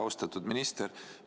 Austatud minister!